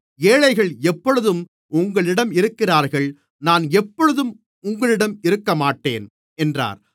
ஏழைகள் எப்பொழுதும் உங்களிடம் இருக்கிறார்கள் நான் எப்பொழுதும் உங்களிடம் இருக்கமாட்டேன் என்றார்